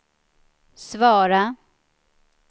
svara